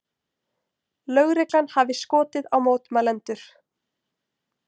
Lögreglan hafi skotið á mótmælendur